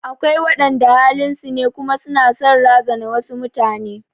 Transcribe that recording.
Akwai waɗanda halin su ne kuma su na son razana wasu mutane.